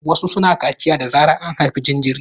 Wasu suna kaciya da zarar an haifi jinjiri.